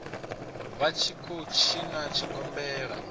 vha tshi khou tshina tshigombela